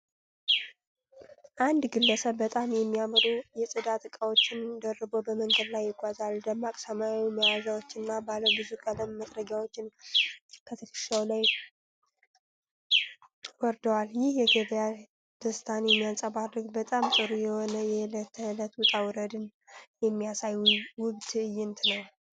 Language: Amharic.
አንድ ግለሰብ በጣም የሚያምሩ የጽዳት ዕቃዎችን ደርቦ በመንገድ ላይ ይጓዛል። ደማቅ ሰማያዊ መያዣዎችና ባለ ብዙ ቀለም መጥረጊያዎች ከትከሻው ላይ ወርደዋል። ይህ የገበያ ደስታን የሚያንፀባርቅ፣ በጣም ጥሩ የሆነ የዕለት ተዕለት ውጣ ውረድን የሚያሳይ ውብ ትዕይንት ነው።